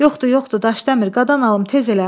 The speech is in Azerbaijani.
Yoxdur, yoxdur, Daşdəmir, qadan alım, tez elə.